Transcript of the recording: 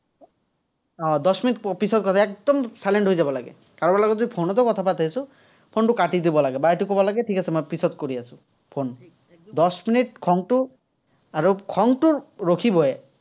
উম minute পিছত কথা, একদম silent হৈ যাব লাগে। কাৰোবাৰ লগত যদি ফোনটো কথা পাতি আছো, ফোনটো কাটি দিব লাগে, বা এইটো ক'ব লাগে, ঠিক আছে মই পিচত কৰি আছো, ফোন। মিনিট খংটো, আৰু খংটো ৰখিবই।